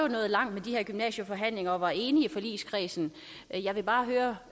nået langt i de her gymnasieforhandlinger og var enige i forligskredsen jeg vil bare høre